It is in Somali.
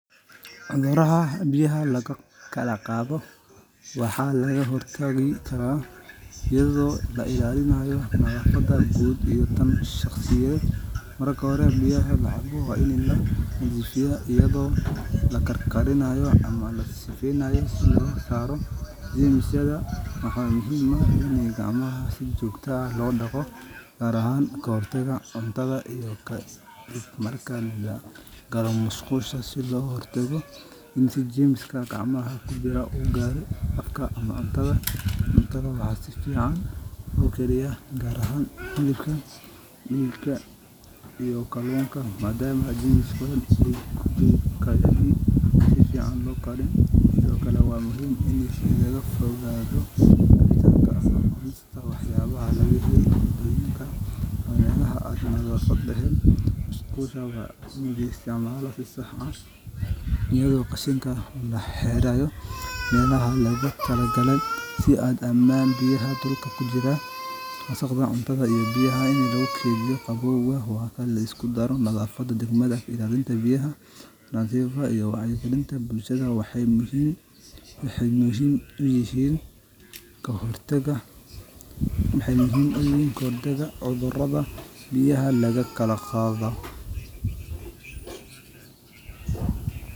Cuduraha biya lagu kala qaado, marka hore biyaha waa in lanadiifiyo, gacmaha si joogta ah loo daqo, marka lagalo musqusha, waxaa si fican loo kariya hilibka, in laga fogaado wax yaabaha nadafad leheen, qashinka lagu xiro meelaha loogu tala gale, wacyi galinta bulshada, waxeey muhiim uyihiin kahor taga.